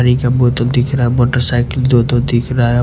पानी का बोतल दिख रहा है मोटर साइकिल दो-दो दिख रहा है।